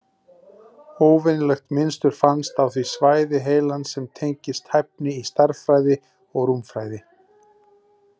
Óvenjulegt mynstur fannst á því svæði heilans sem tengist hæfni í stærðfræði og rúmfræði.